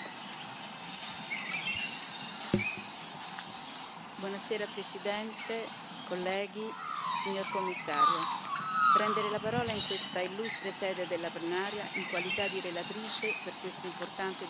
Signor Presidente, onorevoli colleghi, signor Commissario, prendere la parola in questa illustre sede della plenaria in qualità di relatrice per questo importante dossier è per me un onore.